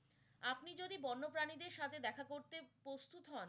আপনি যদি বন্যপ্রাণীদের সাথে দেখা করতে প্রস্তুত হন